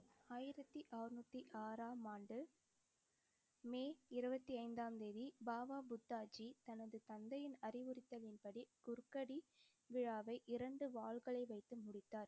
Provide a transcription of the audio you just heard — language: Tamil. ஆயிரத்தி அறநூத்தி ஆறாம் ஆண்டு மே இருபத்தி ஐந்தாம் தேதி பாபா புத்தாஜி தனது தந்தையின் அறிவுறுத்தலின்படி குர்க்கடி விழாவை இரண்டு வாள்களை வைத்து முடித்தார்.